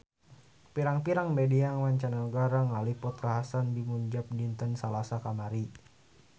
Pirang-pirang media mancanagara ngaliput kakhasan di Punjab dinten Salasa kamari